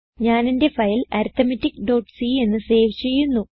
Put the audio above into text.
ഞാനെന്റെ ഫയൽ arithmeticസി എന്ന് സേവ് ചെയ്യുന്നു